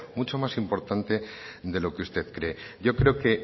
mucho más importante de lo que usted cree yo creo que